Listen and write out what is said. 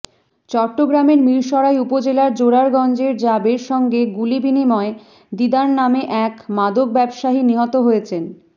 চট্টগ্রামের মিরসরাই উপজেলার জোড়ারগঞ্জে র্যাবের সঙ্গে গুলিবিনিময়ে দিদার নামে এক মাদক ব্যবসায়ী নিহত হয়েছেন